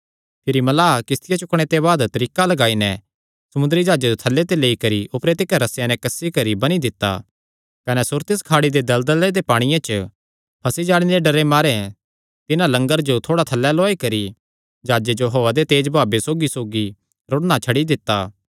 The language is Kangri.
भिरी मल्लाहां किस्तियां चुकणे दे बाद तरीका लगाई नैं समुंदरी जाह्जे जो थल्लै ते लेई करी ऊपरे तिकर रस्सेयां नैं कसी करी बन्नी दित्ता कने सुरतिस खाड़ी दे दलदले दे पांणिये च फंसी जाणे दे डरे मारे तिन्हां लंगर जो थोड़ा थल्लै लौआई करी जाह्जे जो हौआ दे तेज बहावे सौगीसौगी रुड़णा छड्डी दित्ता